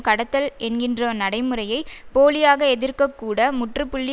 கடத்தல் என்கின்ற நடைமுறையை போலியாக எதிர்க்க கூட முற்றுப்புள்ளி